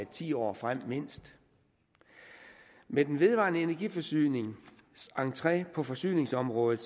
ti år frem mindst med den vedvarende energi forsynings entre på forsyningsområdet